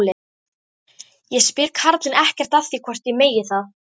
Ég spyr karlinn ekkert að því hvort ég megi það.